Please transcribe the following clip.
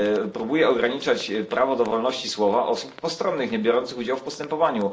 Próbuje ograniczać prawo do wolności słowa osób postronnych, niebiorących udziału w postępowaniu.